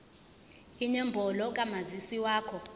inombolo kamazisi wakho